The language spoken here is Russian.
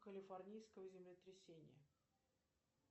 калифорнийское землетрясение